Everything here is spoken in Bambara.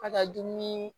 Ka taa dumuni